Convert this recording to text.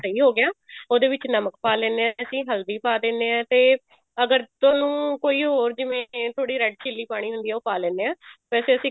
ਸਹੀ ਹੋਗਿਆ ਉਹਦੇ ਵਿੱਚ ਨਮਕ ਪਾ ਲੈਣਾ ਅਸੀਂ ਹਲਦੀ ਪਾ ਦੇਣੇ ਆਂ ਤੇ ਅਗਰ ਤੁਹਾਨੂੰ ਕੋਈ ਹੋਰ ਜਿਵੇਂ ਥੋੜੀ red chili ਪਾਉਣੀ ਹੁੰਦੀ ਆ ਉਹ ਪਾ ਲੈਣੇ ਹਾਂ ਵੇਸੇ ਅਸੀਂ